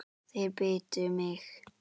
Þeir bitu mig.